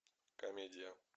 комедия